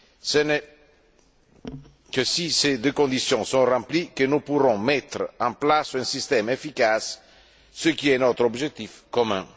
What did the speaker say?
Ce n'est que si ces deux conditions sont remplies que nous pourrons mettre en place un système efficace, ce qui est notre objectif commun.